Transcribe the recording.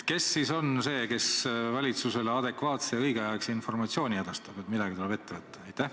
Kes siis on see, kes edastab valitsusele õigel ajal adekvaatse informatsiooni, et midagi tuleb ette võtta?